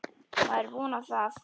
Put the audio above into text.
Maður vonar það.